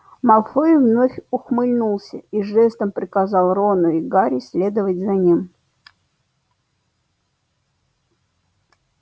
малфой вновь ухмыльнулся и жестом приказал рону и гарри следовать за ним